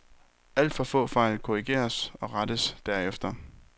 Alt for få fejl korrigeres og rettes derefter.